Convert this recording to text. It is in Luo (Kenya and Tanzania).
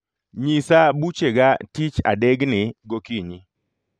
Nyisa buchega tich adegni gokinyi